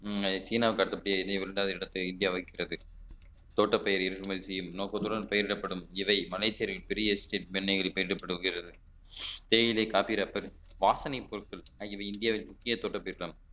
சீனா அடுத்தபடியாக இடத்தை இந்தியா வகிக்கிறது தோட்டப்பயிறு இறக்குமதி செய்யும் நோக்கத்துடன் பயிரிடப்படும் இதை மலைச்சேரியில் பெரிய தேயிலை காப்பிரப்பன் வாசனைப் பொருட்கள் ஆகியவை இந்தியாவின் முக்கிய தோட்ட திட்டம்